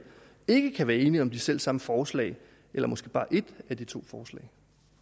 ikke kan være enige om de selv samme forslag eller måske bare et af de to forslag